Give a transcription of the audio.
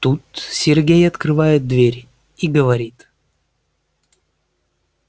тут сергей открывает дверь и говорит